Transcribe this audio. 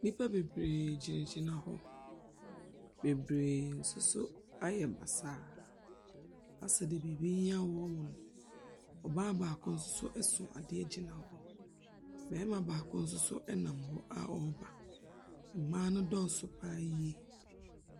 Nnipa bebree gyinagyina hɔ, bebree nso so ayɛ basaa asɛ deɛ biribi reyɛ wɔn no. ɔbaa baako nso so so adeɛ gyina hɔ. Barima baako nso so nam hɔ a ɔreba. Mmaa no dɔɔso pa ara yie.